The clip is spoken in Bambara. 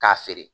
K'a feere